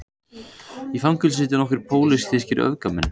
Í fangelsinu sitja nokkrir pólitískir öfgamenn